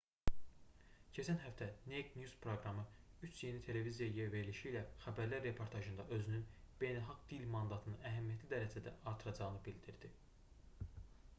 keçən həftə naked news proqramı üç yeni televiziya verilişi ilə xəbərlər reportajında özünün beynəlxalq dil mandatını əhəmiyyətli dərəcədə artıracağını bildirdi